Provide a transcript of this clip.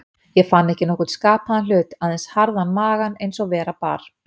Ég fann ekki nokkurn skapaðan hlut, aðeins harðan magann eins og vera bar.